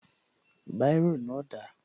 Báírò náà dà?